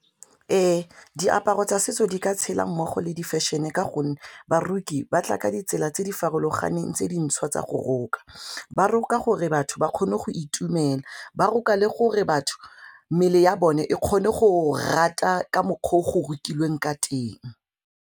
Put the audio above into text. Ee diaparo tsa setso di ka tshela mmogo le di fashion-e ka gonne baroki ba tla ka ditsela tse di farologaneng tse di ntshwa tsa go roka, ba roka gore batho ba kgone go itumela, ba roka le gore batho mmele ya bone e kgone go rata ka mokgwa o go rutilweng ka teng.